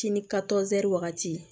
Sini wagati